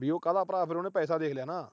ਵੀ ਉਹ ਕਾਹਦਾ ਭਰਾ। ਫਿਰ ਉਹਨੇ ਪੈਸਾ ਦੇਖ ਲਿਆ ਨਾ।